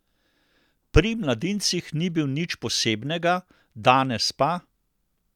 Pri mladincih ni bil nič posebnega, danes pa ...